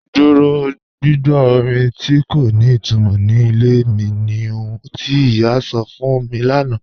Dúró gbìgbọ́ orin tí kò ní ìtumọ́ ní ilẹ̀ mi ní ọ̀hun tí iyá mi sọ́ fún mi lánà